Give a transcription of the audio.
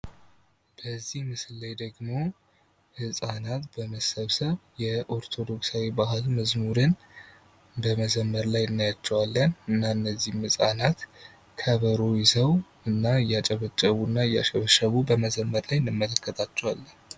በዚህ ምስል ላይ ደግሞ ህፃናት በመሰብሰብ የኦርቶዶክሳዊ ባህል መዝሙርን በመዘመር ላይ እናያቸዋለን። እና እነዚህ ህፃናት ከበሮ ይዘዉ እያጨበጨቡ እና እያሸበሸቡ እንመለከታቸዋለን።